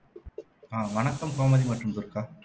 ஆஹ் வணக்கம் கோமதி மற்றும் துர்கா